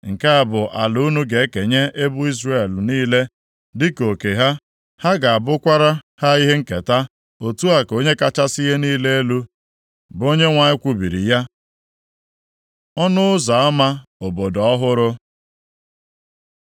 “Nke a bụ ala unu ga-ekenye ebo Izrel niile dịka oke ha. Ha ga-abụkwara ha ihe nketa.” Otu a ka Onye kachasị ihe niile elu, bụ Onyenwe anyị kwubiri ya. Ọnụ ụzọ ama obodo ọhụrụ